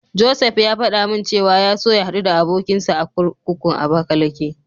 Josef ya faɗa min cewa ya so ya haɗu da abokinsa a kurkukun Abakalake.